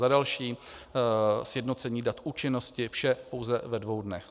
Za další sjednocení dat účinnosti - vše pouze ve dvou dnech.